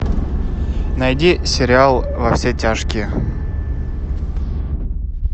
найди сериал во все тяжкие